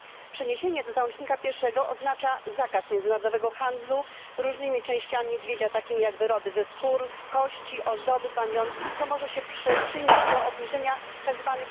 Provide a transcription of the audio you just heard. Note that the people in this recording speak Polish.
Przeniesienie do załącznika I oznacza zakaz międzynarodowego handlu różnymi częściami niedźwiedzia, takimi jak wyroby ze skór, kości, ozdoby, pamiątki, co może się przyczynić do obniżenia tzw.